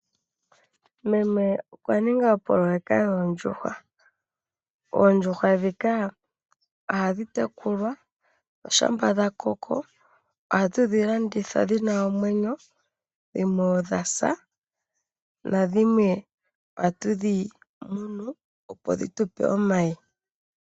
Meme okwaninga opoloweka yoondjuhwa. Oondjuhwa ndhika ohadhi tekulwa oshampa dhakoko, ohatu dhilanditha dhina omwenyo, dhimwe odhasa nadhiwe ohatu dhimunu opo dhitupe omayi.